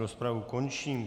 Rozpravu končím.